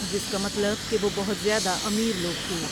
جس کا مطلب کہ وہ بہت زیادہ امیر لوگ تھے ۔